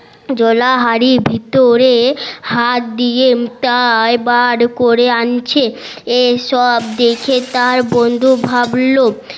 জোলা হাড়ি ভিতরে হাত দিয়ে তাই বার করে আনছে এইসব দেখে তার বন্ধু ভাবলো